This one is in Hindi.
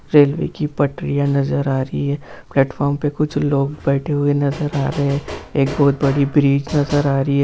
रेलवे की पटरियां नजर आ रही है प्लेटफार्म पर कुछ लोग बैठे नजर आ रहे हैं एक बहुत बड़ी ब्रीज नजर आ रही है।